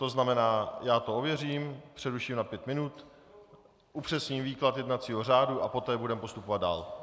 To znamená, já to ověřím, přeruším na pět minut, upřesním výklad jednacího řádu a poté budeme postupovat dál.